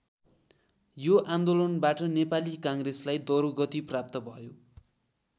यो आन्दोलनबाट नेपाली काङ्ग्रेसलाई दरोगति प्राप्त भयो।